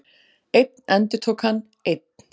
Einn, endurtók hann, einn.